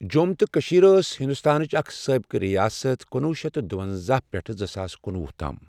جۆم تہٕ کٔشیٖر ٲس ہِندوستانٕچ اَکھ سٲبِقہٕ رِیاست کنوہہ شتھ دُونٛزاہ پؠٹھٕ زٕساس کنوہہ تام